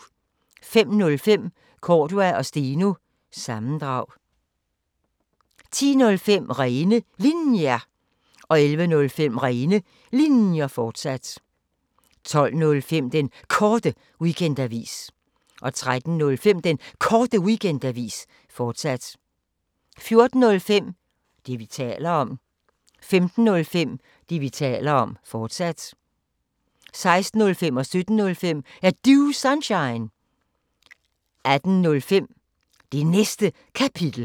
05:05: Cordua & Steno – sammendrag 10:05: Rene Linjer 11:05: Rene Linjer, fortsat 12:05: Den Korte Weekendavis 13:05: Den Korte Weekendavis, fortsat 14:05: Det, vi taler om 15:05: Det, vi taler om, fortsat 16:05: Er Du Sunshine? 17:05: Er Du Sunshine? 18:05: Det Næste Kapitel